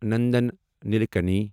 Nandan Nilekani